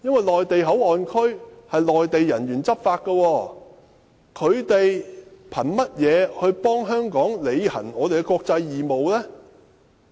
內地口岸區由內地人員執法，他們憑甚麼替香港履行其國際義務？